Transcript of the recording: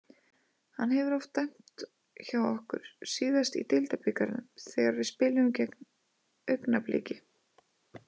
Hann hefur oft dæmt hjá okkur, síðast í deildabikarnum þegar við spiluðum gegn Augnabliki.